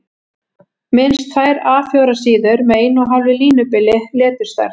Minnst tvær A 4 síður með 1½ línubili, leturstærð